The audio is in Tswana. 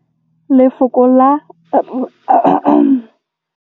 Lefoko la rre le na le tumammogôpedi ya, r.